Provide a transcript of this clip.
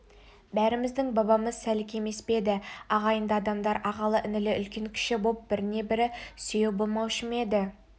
бәріміздің бабамыз сәлік емес пе еді ағайынды адамдар ағалы-інілі үлкен-кіші боп біріне-бірі сүйеу болмаушы ма еді